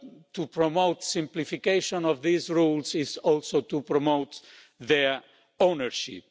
To promote simplification of these rules is also to promote their ownership.